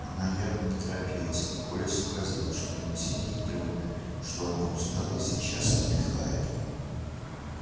она явно не торопилась и коля сообразил что идти ей трудно что она устала и сейчас отдыхает